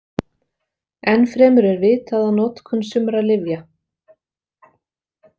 Enn fremur er vitað að notkun sumra lyfja.